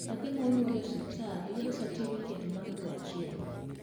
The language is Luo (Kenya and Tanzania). nyathi ma onyuol e hospital yudo satifiket bang dwe achiel